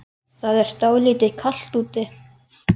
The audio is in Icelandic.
Það er dálítið kalt úti.